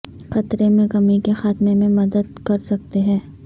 خطرے میں کمی کے خاتمے میں مدد کر سکتے ہیں